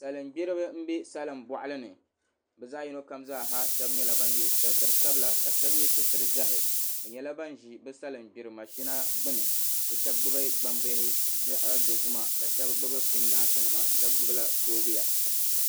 Salingbiriba n bɛ salin bɔɣili ni bi zaa yino kam zaa ha shɛba nyɛla ban yɛ sitira sabila ka shɛba yɛ sitira ʒiɛhi bi nyɛla ban ʒi bi salingiri mashina gbuni bi shɛba gbubi gbambihi zaɣa dozima ka shɛba gbubi pingaasi nima shɛba gbubi soobuya.